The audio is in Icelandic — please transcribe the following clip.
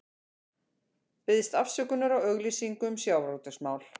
Biðst afsökunar á auglýsingu um sjávarútvegsmál